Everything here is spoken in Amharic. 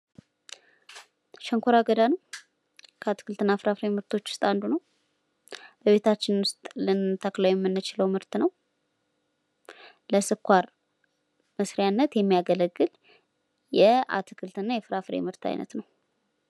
ሸንኮራ አገዳ ነው። ከአትክልትና ፍራፍሬ ምርቶች ውስጥ አንዱ ነው። በቤታችን ውስጥ ልንተክለው የምንችለው ምርት ነው። ለስኳር መስሪያነት የሚያገለግል የአትክልትና የፍራፍሬ ምርት አይነት ነው።